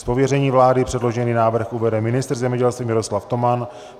Z pověření vlády předložený návrh uvede ministr zemědělství Miroslav Toman.